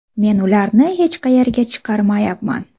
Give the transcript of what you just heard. Men ularni hech qayerga chiqarmayapman.